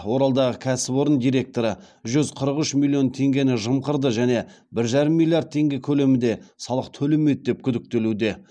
оралдағы кәсіпорын директоры жүз қырық үш миллион теңгені жымқырды және бір жарым миллиард теңге көлемінде салық төлемеді деп күдіктелуде